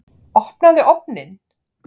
Opnaðu ofninn!